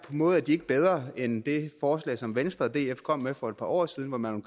måde er de ikke bedre end det forslag som venstre og df kom med for et par år siden hvor man